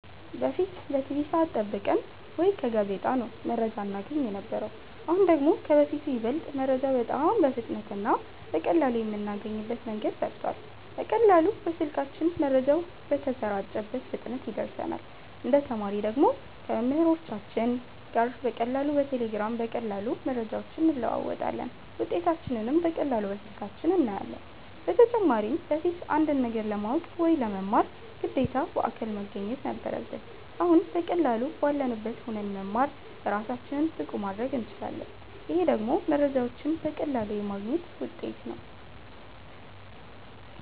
በፊት በቲቪ ሰዐት ጠብቀን ወይ ከጋዜጣ ነው መረጃ እናገኝ የነበረው አሁን ደግሞ ከበፊቱ ይበልጥ መረጃ በጣም በፍጥነት እና በቀላሉ የምናገኝበት መንገድ ሰፍቷል በቀላሉ በስልካችን መረጃው በተሰራጨበት ፍጥነት ይደርሰናል እንደ ተማሪ ደግሞ ከመምህሮቻችን ጋር በቀላሉ በቴሌግራም በቀላሉ መረጃዎችን እንለዋወጣለን ውጤታችንንም በቀላሉ በስልካችን እናያለን በተጨማሪም በፊት አንድን ነገር ለማወቅ ወይ ለመማር ግዴታ በአካል መገኘት ነበረብን አሁን በቀላሉ ባለንበት ሁነን መማር እራሳችንን ብቁ ማረግ እንችላለን ይሄ ደግሞ መረጃዎችን በቀላሉ የማግኘት ውጤት ነው